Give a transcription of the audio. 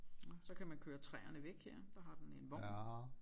Nåh så kan man køre træerne væk her der har den en vogn